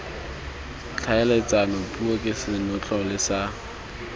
tlhaeletsano puo ke senotlele sa